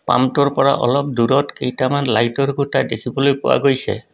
পাম্পটোৰ পৰা অলপ দূৰত কেইটামান লাইটৰ খুঁটা দেখিবলৈ পোৱা গৈছে।